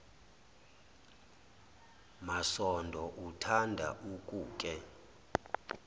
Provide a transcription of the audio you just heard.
masondo uthanda ukuke